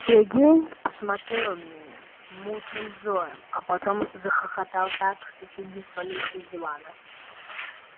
сергей посмотрел на меня мутным взором а потом захохотал так что чуть не свалился с дивана